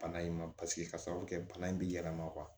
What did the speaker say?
Bana in ma paseke ka sababu kɛ bana in bɛ yɛlɛma